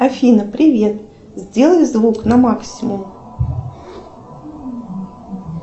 афина привет сделай звук на максимум